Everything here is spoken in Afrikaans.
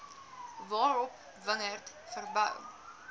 waarop wingerd verbou